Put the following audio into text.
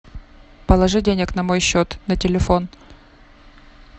положи денег на мой счет на телефон